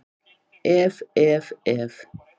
Ef, ef, ef!